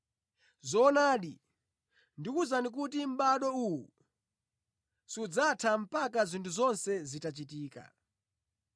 Zoonadi, ndikuwuzani kuti mʼbado uwu sudzatha mpaka zinthu zonse zitachitika.